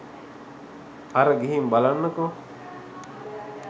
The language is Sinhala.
අර ගිහින් බලන්නකෝ